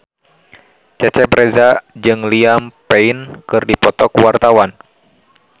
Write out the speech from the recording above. Cecep Reza jeung Liam Payne keur dipoto ku wartawan